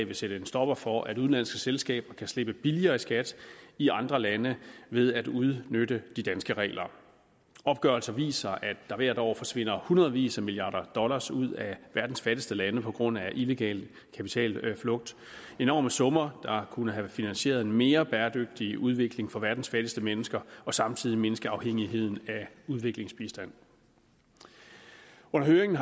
vil sætte en stopper for at udenlandske selskaber kan slippe billigere i skat i andre lande ved at udnytte de danske regler opgørelser viser at der hvert år forsvinder hundredvis af milliarder dollars ud af verdens fattigste lande på grund af illegal kapitalflugt enorme summer der kunne have finansieret en mere bæredygtig udvikling for verdens fattigste mennesker og samtidig mindske afhængigheden af udviklingsbistand under høringen